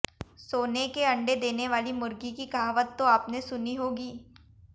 सोने के अंडे देने वाली मुर्गी की कहावत तो आपने सुनी होगी